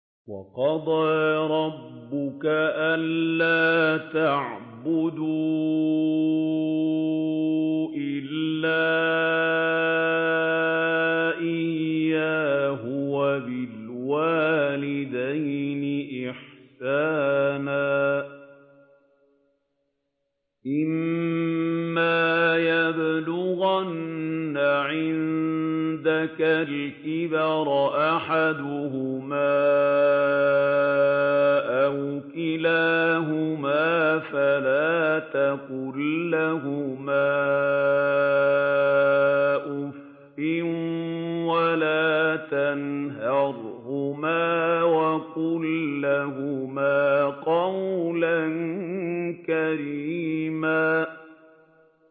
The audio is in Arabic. ۞ وَقَضَىٰ رَبُّكَ أَلَّا تَعْبُدُوا إِلَّا إِيَّاهُ وَبِالْوَالِدَيْنِ إِحْسَانًا ۚ إِمَّا يَبْلُغَنَّ عِندَكَ الْكِبَرَ أَحَدُهُمَا أَوْ كِلَاهُمَا فَلَا تَقُل لَّهُمَا أُفٍّ وَلَا تَنْهَرْهُمَا وَقُل لَّهُمَا قَوْلًا كَرِيمًا